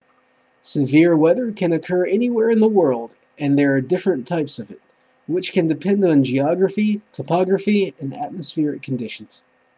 severe weather can occur anywhere in the world and there are different types of it which can depend on geography topography and atmospheric conditions